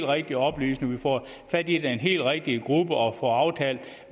rigtige oplysninger og får fat i den helt rigtige gruppe og får aftalt